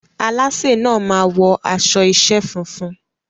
Alásè náà máa wọ aṣọ iṣẹ́ funfun.